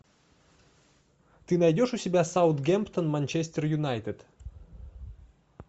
ты найдешь у себя саутгемптон манчестер юнайтед